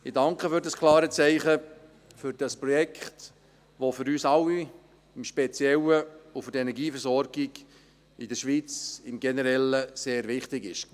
Ich danke für das klare Zeichen für dieses Projekt, welches für uns alle, insbesondere für die Energieversorgung in der Schweiz, aber auch generell sehr wichtig ist.